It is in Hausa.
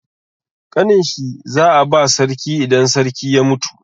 Ƙanin shi za a ba sarki idan sarki ya mutu.